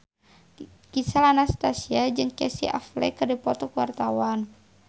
Gisel Anastasia jeung Casey Affleck keur dipoto ku wartawan